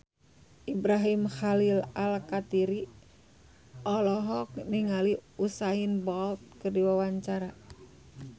Ibrahim Khalil Alkatiri olohok ningali Usain Bolt keur diwawancara